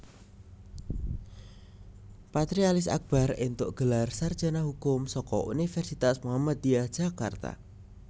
Patrialis Akbar entuk gelar sarjana hukum saka Universitas Muhammadiyah Jakarta